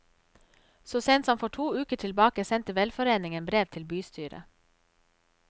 Så sent som for to uker tilbake sendte velforeningen brev til bystyret.